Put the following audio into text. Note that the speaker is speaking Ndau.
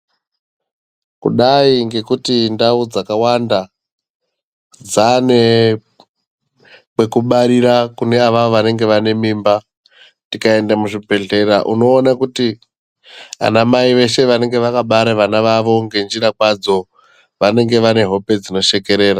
Kudai ngekuti ndau dzakawanda dzaane kwekubarira kune avavo vanenge vane mimba. Tikaenda muzvibhehlera unoona kuti ana mai veshe vanenge vakabara vana vavo ngenjira kwadzo ,vanenge vane hope dzinoshekerera.